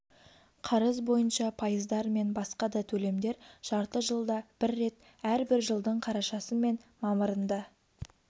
қарыз бойынша пайыздар мен басқа да төлемдер жарты жылда бір рет әрбір жылдың қарашасы мен мамырында